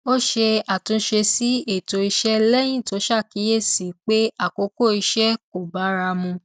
ó ṣe àtúnṣe sí ètò iṣẹ lẹyìn tó ṣàkíyèsí pé àkókò iṣẹ kò bára mu